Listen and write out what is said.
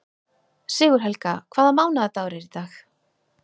Sigurhelga, hvaða mánaðardagur er í dag?